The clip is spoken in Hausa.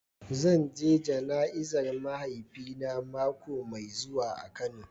Zan je jana'izar mahaifina mako mai zuwa a kano.